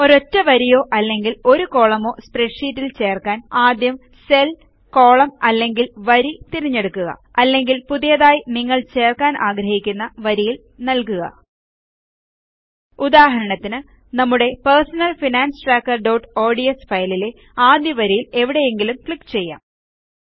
ഒരൊറ്റ വരിയോ അല്ലെങ്കിൽ ഒരു കോളമോ സ്പ്രെഡ്ഷീറ്റിൽ തിരുകാൻ ആദ്യം സെൽ കോളം അല്ലെങ്കിൽ വരി തിരഞ്ഞെടുക്കുക അല്ലെങ്കിൽ പുതിയതായി നിങ്ങൾ ചേർക്കാൻ ആഗ്രഹിക്കുന്ന വരിയിൽ നല്കുക ഉദാഹരണത്തിന് നമ്മുടെ പെർസണൽ ഫൈനാൻസ് trackerഓഡ്സ് ഫയലിലെ ആദ്യ വരിയിൽ എവിടെയെങ്കിലും ക്ലിക്ക് ചെയ്യാം